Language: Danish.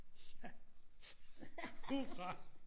Ja. Hurra!